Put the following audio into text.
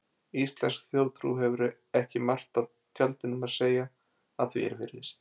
Íslensk þjóðtrú hefur ekki margt af tjaldinum að segja, að því er virðist.